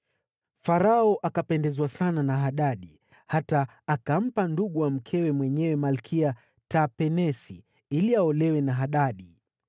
Farao akapendezwa sana na Hadadi hata akampa ndugu wa mkewe mwenyewe, Malkia Tapenesi, ili aolewe na Hadadi.